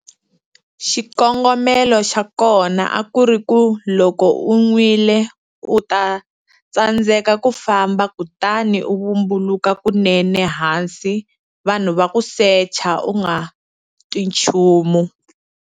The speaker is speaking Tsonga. Xikongomelo xa kona a kuri ku loko u nwile u ta tsandzeka ku famba kutani u vumbuluka kunene hansi vanhu va ku secha u nga twi nchumu.